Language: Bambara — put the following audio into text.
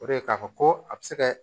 O de ye k'a fɔ ko a bɛ se kɛ